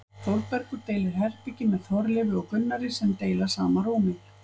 Þórbergur deilir herbergi með Þorleifi og Gunnari sem deila sama rúmi.